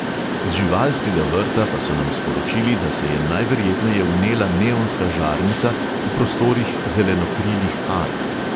Iz živalskega vrta pa so nam sporočili, da se je najverjetneje vnela neonska žarnica v prostorih zelenokrilih ar.